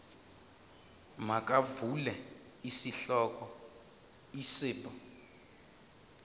makuvele isihloko isib